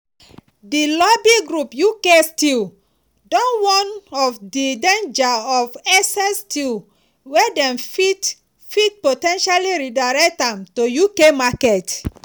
di lobby group uk steel don warn of di danger of excess steel wey dem fit fit po ten tially redirect am to uk market.